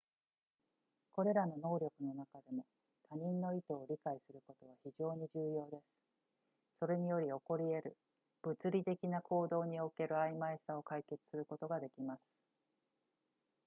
これらの能力の中でも他人の意図を理解することは非常に重要ですそれにより起こり得る物理的な行動における曖昧さを解決することができます